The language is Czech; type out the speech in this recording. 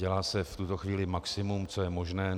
Dělá se v tuto chvíli maximum, co je možné.